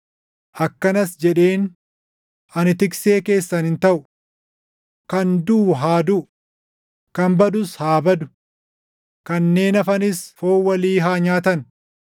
akkanas jedheen; “Ani tiksee keessan hin taʼu. Kan duʼu haa duʼu; kan badus haa badu. Kanneen hafanis foon walii haa nyaatan.”